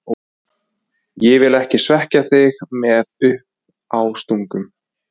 Ég vil ekki svekkja þig með uppástungum.